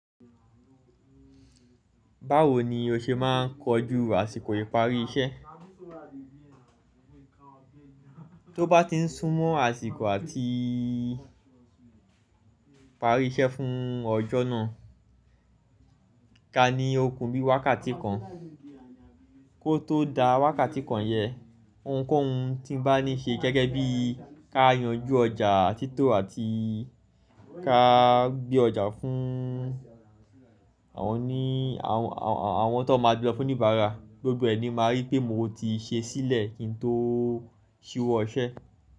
Báwo ni o ṣe máa ń kojú àsìkò ìparí iṣẹ́? Tó bá ti súnmọ́ àsìkò àti parí iṣẹ́ fún ọjọ́ náà, ka ní okùn bí wákàtí kan kó tó dá wákàtí kan yẹn, ohunkóhun tí bá ní ṣe gẹ́gẹ́ bí ká yanjú ọjà títò àti ká gbé ọjà fún àwọn tó máa gbé ọ Fún níbẹ̀, gbogbo ẹ̀ ni máa rí pé mo ti ṣe é sílẹ̀ kí n tó ṣíwọ́ iṣẹ́.